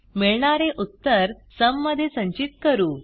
मिळणारे उत्तर सुम मध्ये संचित करू